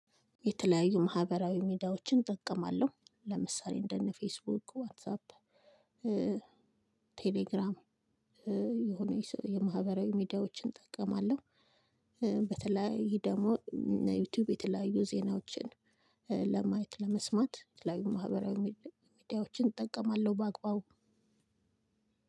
የተለያዩ ማህበራዊ ሚዲያዎችን እጠቀማለሁ ለምሳሌ እንደ እነ ፌስቡክ ዋትሳፕ ቴሌግራም የሆነ የማህበራዊ ሚዲያዎችን እጠቀማለሁ። በተለየ ደግሞ ዩቱዩብ የተለያዩ ዜናዎችን ለማየት ለመስማት የተለያዩ ማህበራዊ ምድያዎችን እጠቀማለሁ። በአግባቡ